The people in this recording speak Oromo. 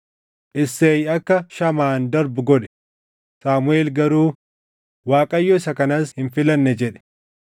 Isseey akka Shamaan darbu godhe; Saamuʼeel garuu, “ Waaqayyo isa kanas hin filanne” jedhe.